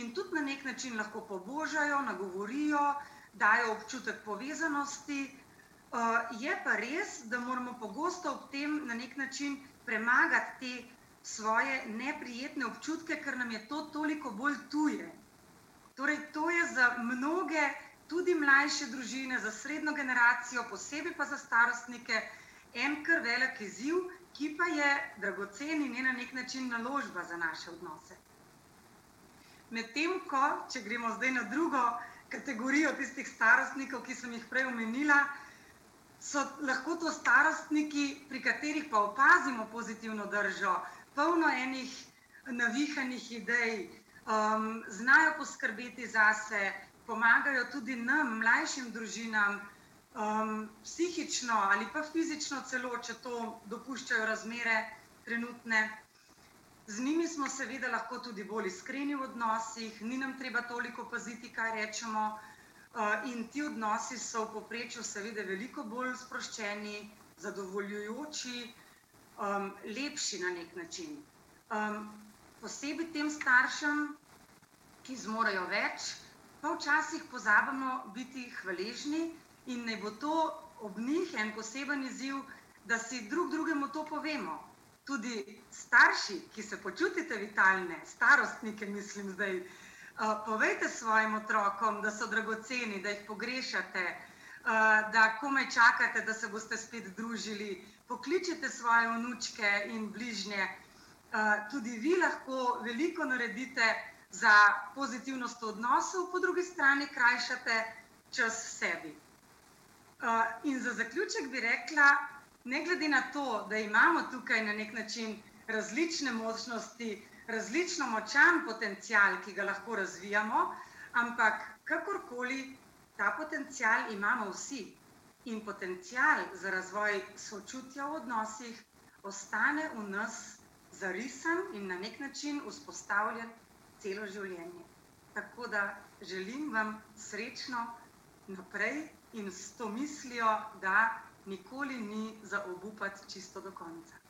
in tudi na neki način lahko pobožajo, nagovorijo, dajo občutek povezanosti, je pa res, da moramo pogosto ob tem na neki način premagati te svoje neprijetne občutke, ker nam je to toliko bolj tuje. Torej to je za mnoge, tudi mlajše družine, za srednjo generacijo, posebej pa za starostnike en kar velik izziv, ki pa je dragocen in je na neki način naložba za naše odnose. Medtem ko, če gremo zdaj na drugo kategorijo tistih starostnikov, ki sem jih prej omenila, so lahko to starostniki, pri katerih pa opazimo pozitivno držo, polno enih navihanih idej, znajo poskrbeti zase, pomagajo tudi nam, mlajšim družinam, psihično ali pa fizično celo, če to dopuščajo razmere trenutne. Z njimi smo seveda lahko tudi bolj iskreni v odnosih, ni nam treba toliko paziti, kaj rečemo, in ti odnosi so v povprečju seveda veliko bolj sproščeni, zadovoljujoči, lepši na neki način. posebej tem staršem, ki zmorejo več, pa včasih pozabimo biti hvaležni in naj bo to ob njih en poseben izziv, da si drug drugemu to povemo, tudi starši, ki se počutite vitalne, starostnike mislim zdaj, povejte svojim otrokom, da so dragoceni, da jih pogrešate, da komaj čakate, da se boste spet družili, pokličite svoje vnučke in bližnje. tudi vi lahko veliko naredite za pozitivnost v odnosu, po drugi strani krajšate čas sebi. in za zaključek bi rekla, ne glede na to, da imamo tukaj na neki način različne možnosti, različno močan potencial, ki ga lahko razvijamo, ampak kakorkoli, ta potencial imamo vsi. In potencial za razvoj sočutja v odnosih ostane v nas zarisan in na neki način vzpostavljen celo življenje. Tako da želim vam srečno naprej in s to mislijo, da nikoli ni za obupati čisto do konca.